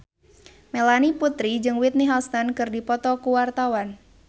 Melanie Putri jeung Whitney Houston keur dipoto ku wartawan